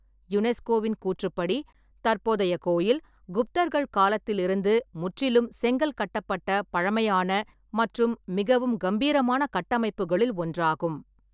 யுனெஸ்கோவின் கூற்றுப்படி, "தற்போதைய கோயில் குப்தர்கள் காலத்தில் இருந்து முற்றிலும் செங்கல் கட்டப்பட்ட பழமையான மற்றும் மிகவும் கம்பீரமான கட்டமைப்புகளில் ஒன்றாகும்".